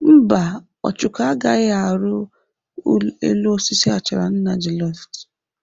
Mba, Ọchụko agaghị arụ elu osisi achara nna Juliet.